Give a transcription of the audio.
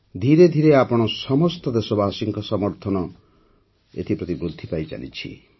ଧିରେ ଧିରେ ଆପଣ ସମସ୍ତ ଦେଶବାସୀଙ୍କ ସମର୍ଥନ ଏଥି ପ୍ରତି ବୃଦ୍ଧି ପାଇଚାଲିଛି